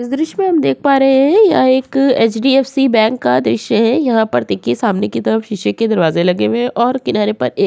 इस दृश्य में हम देख पा रहे हैं यह एक एच.डी.एफ.सी. बैंक का दृश्य है। यहाँ पर देखिये सामने की तरफ शीशे के दरवाजे लगे वे हैं और किनारे पर ए --